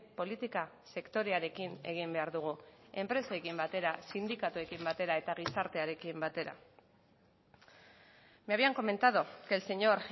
politika sektorearekin egin behar dugu enpresekin batera sindikatuekin batera eta gizartearekin batera me habían comentado que el señor